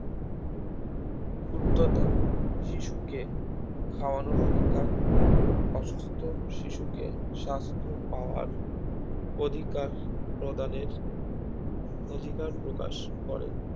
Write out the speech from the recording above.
ক্ষুদ্ধতা শিশুকে খাওনোর অধিকার অসুস্থ শিশুকে স্বাস্থ পাওয়ার অধিকার প্রদানের অধিকার প্রকাশ করে